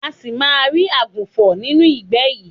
A ṣì máa rí àgùnfọ̀n nínú ìgbẹ́ yìí.